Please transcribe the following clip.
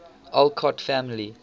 alcott family